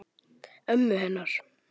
Ömmu hennar.